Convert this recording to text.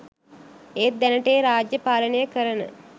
ඒත් දැනට ඒ රාජ්‍යය පාලනය කරන